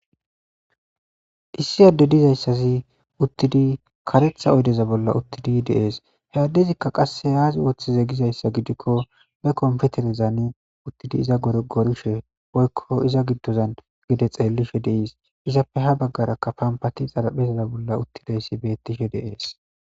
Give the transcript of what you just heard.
Issi adde dizaysi uttidi karetha oyde bolla uttidi de'ees. He addezika qasse aazi oothize gizaysa gidiko be kompiterezara uttidi iza gorogorishe woyko iza giddozan gede xeellishe de'ees. Izappe ha baggaraka pampati xarapheza bolla uttidi beetishe dizaysi de'ees.